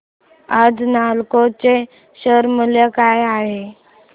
आज नालको चे शेअर मूल्य काय आहे